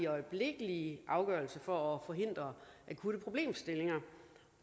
og øjeblikkelige afgørelser for at forhindre akutte problemstillinger